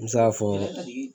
Me se ka fɔ